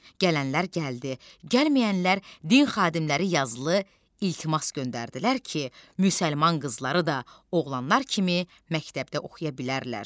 Gələnlər gəldi, gəlməyənlər din xadimləri yazılı iltimas göndərdilər ki, müsəlman qızları da oğlanlar kimi məktəbdə oxuya bilərlər.